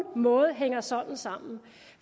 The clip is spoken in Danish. måde hænger sådan sammen